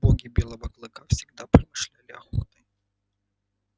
боги белого клыка всегда промышляли охотой